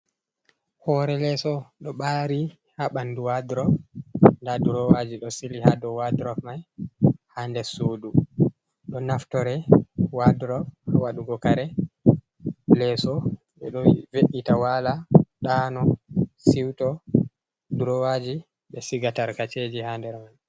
Hore leso ɗo ɓari ha ɓandu wadrop, nda drowaji ɗo sili ha dow wadrop mai ha nder sudu ɗo naftire wadrop ha waɗugo kare. Leso ɓe ɗo ve’ita wala ɗano, siwto, drowaji ɓe siga tarkaceji ha nder mai.